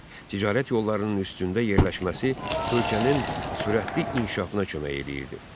Ticarət yollarının üstündə yerləşməsi ölkənin sürətli inkişafına kömək eləyirdi.